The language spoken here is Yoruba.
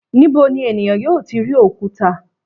Níbo ni ènìyàn yóò ti rí òkúta?